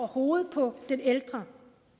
hovedet på den ældre